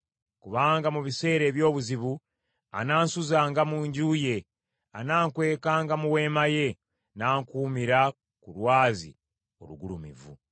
Kubanga mu biseera eby’obuzibu anansuzanga mu nju ye; anankwekanga mu weema ye, n’ankuumira ku lwazi olugulumivu.